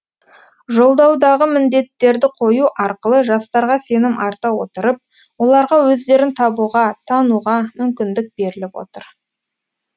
жолдаудағы міндеттерді қою арқылы жастарға сенім арта отырып оларға өздерін табуға тануға мүмкіндік беріліп отыр